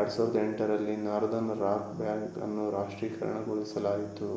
2008 ರಲ್ಲಿ Northern Rock bank ಅನ್ನು ರಾಷ್ಟ್ರೀಕರಣಗೊಳಿಸಲಾಯಿತು